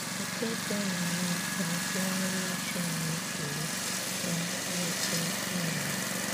Òkè̀ dị aṅaa ka ntụgharị uche na-ekere ná mkparịta ụkà anyị?